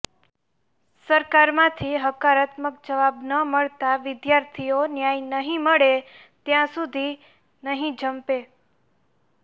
સરકારમાંથી હકારાત્મક જવાબ ન મળતાં વિદ્યાર્થીઓ ન્યાય નહીં મળે ત્યાં સુધી નહીં જંપે